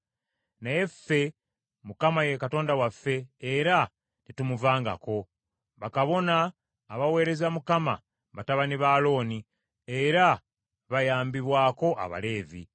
“Naye ffe, Mukama ye Katonda waffe, era tetumuvangako. Bakabona abaweereza Mukama , batabani ba Alooni, era bayambibwako Abaleevi.